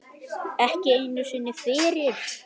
Eins og maurar.